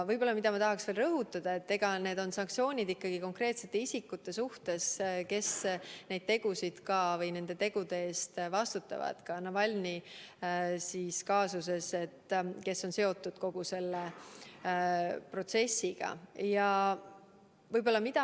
Ma tahaks rõhutada veel seda, et need sanktsioonid kehtestatakse ikkagi konkreetsete isikute suhtes, kes nende tegude eest vastutavad, ka Navalnõi kaasuses, ja kes on kogu selle protsessiga seotud.